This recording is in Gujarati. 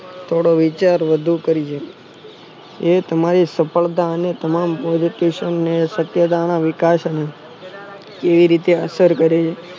થોડો વિચાર વધુ કરી લેજો એ તમારી સફળતા અને તમામ politician સત્ત્યતાના વિકાસ એ રીતે અસર કરે છે